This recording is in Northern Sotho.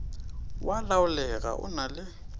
wa laolega o na le